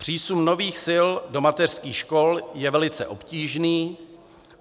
Přísun nových sil do mateřských škol je velice obtížný.